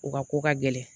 U ka ko ka gɛlɛn